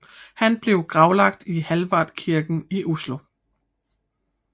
Han blev gravlagt i Hallvardskirken i Oslo